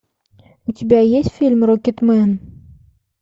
у тебя есть фильм рокетмен